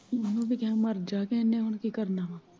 ਮੈਂ ਉਹੀ ਤੇ ਕਿਹਾ ਮਰਜਾ ਤੇ ਉੰਨੇ ਹੁਣ ਕੀ ਕਰਨਾ।